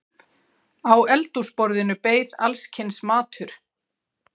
Á eldhúsborðinu beið alls kyns matur.